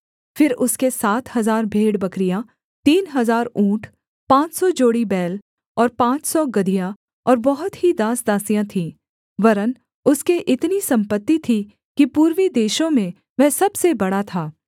फिर उसके सात हजार भेड़बकरियाँ तीन हजार ऊँट पाँच सौ जोड़ी बैल और पाँच सौ गदहियाँ और बहुत ही दासदासियाँ थीं वरन् उसके इतनी सम्पत्ति थी कि पूर्वी देशों में वह सबसे बड़ा था